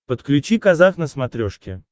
подключи казах на смотрешке